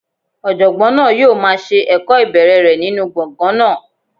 Ọ̀jọ̀gbọ́n náà yóò máa se ẹ̀kọ́ ìbẹ̀rẹ̀ rẹ̀ nínú gbọ̀ngàn náà.